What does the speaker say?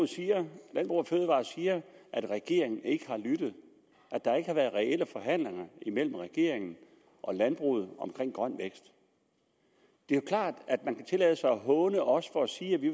siger at regeringen ikke har lyttet at der ikke har været reelle forhandlinger imellem regeringen og landbruget omkring grøn vækst det er jo klart at man så kan tillade sig at håne os for at sige at vi